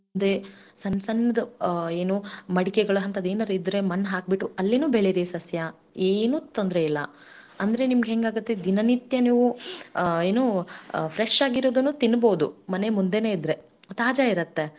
ಆತರನು ಮಾಡ್ಕೊಂಡ ತಿನ್ನಬಹುದು ಎಂಬುದು ಆಮೇಲೆ ಕಾಳ್ ಪದಾರ್ಥ ಜಾಸ್ತಿ ತಿನ್ರೀ ಈಗ ನೋಡ್ರಿ ನಾವು ಬಾನಂತಿಯರಿಗೆ ಆಮೇಲೆ ಅಹ್ ಏನು pregnant ಇರೋರಿಗೆ ನಾವೆಲ್ಲಾ ಏನ ಅಂತಾ ಹೇಳ್ತೀವಿ ಕಾಳುಗಳನ್ನ್ ತಿನ್ಬೇಕು ನೆನಸಿಟ್ಟು ಮೊಳಕೆ ಓಡೆದಿರೋ ಕಾಳು ತರಕಾರಿ